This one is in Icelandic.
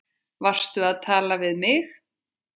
Varstu að tala við mig?